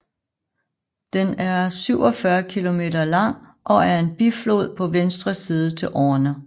Den er 47 km lang og er en biflod på venstre side til Orne